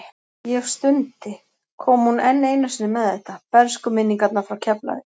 Ég stundi, kom hún enn einu sinni með þetta, bernskuminningarnar frá Keflavík.